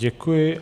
Děkuji.